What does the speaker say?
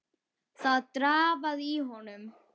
Það drafaði í honum.